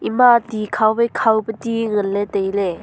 ema ti khaw wai khaw pe ti ngan ley tailey.